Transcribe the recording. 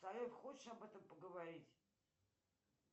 салют хочешь об этом поговорить